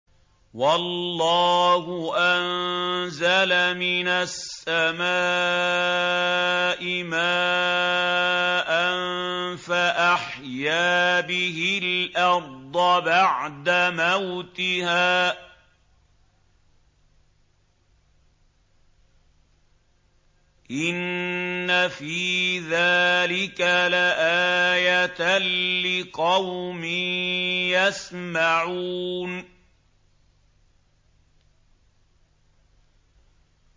وَاللَّهُ أَنزَلَ مِنَ السَّمَاءِ مَاءً فَأَحْيَا بِهِ الْأَرْضَ بَعْدَ مَوْتِهَا ۚ إِنَّ فِي ذَٰلِكَ لَآيَةً لِّقَوْمٍ يَسْمَعُونَ